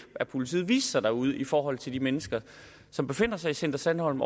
at politiet viste sig derude i forhold til de mennesker som befinder sig i center sandholm